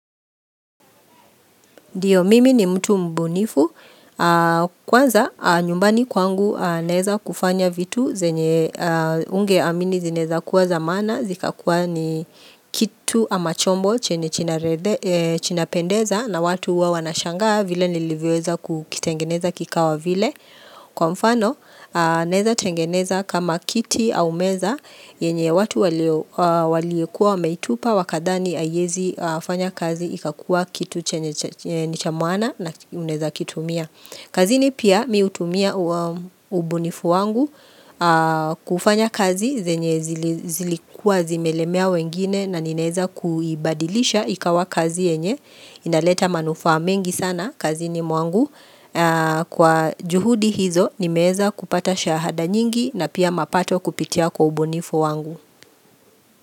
Ndio mimi ni mtu mbunifu, kwanza nyumbani kwangu naeza kufanya vitu zenye ungeamini zinaeza kuwa za maana, zikakuwa ni kitu ama chombo chenye chinapendeza na watu huwa wanashangaa vile nilivyoweza kukitengeneza kikawa vile. Kwa mfano, naeza tengeneza kama kiti au meza yenye watu waliokuwa wameitupa wakadhani aiezi fanya kazi ikakua kitu chenye ni cha maana na unaeza kitumia. Kazini pia mi utumia ubunifu wangu kufanya kazi zenye zilikua zimelemea wengine na ninaeza kuibadilisha ikawa kazi yenye. Inaleta manufaa mengi sana kazini mwangu kwa juhudi hizo nimeeza kupata shahada nyingi na pia mapato kupitia kwa ubunifu wangu.